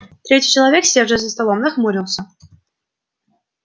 третий человек сидевший за столом нахмурился